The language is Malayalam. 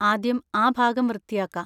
ആദ്യം ആ ഭാഗം വൃത്തിയാക്കാ.